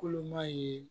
Koloman ye